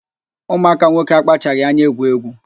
Ụmụaka nwoke akpachaghị anya egwu egwu